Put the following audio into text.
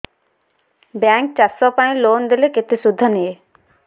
bank ଚାଷ ପାଇଁ loan ଦେଲେ କେତେ ସୁଧ ନିଏ